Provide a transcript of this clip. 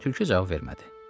Tülkü cavab vermədi.